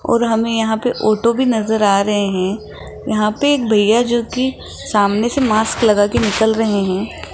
और हमें यहां पे ऑटो भी नजर आ रहे हैं यहां पे एक भैया जो कि सामने से मास्क लगाके निकल रहे हैं।